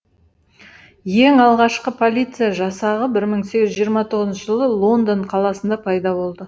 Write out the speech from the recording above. ең алғашқы полиция жасағы бір мың сегіз жүз жиырма тоғызыншы жылы лондон қаласында пайда болды